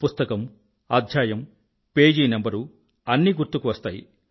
పుస్తకం అధ్యాయం పేజీ నంబరు గుర్తుకువస్తాయి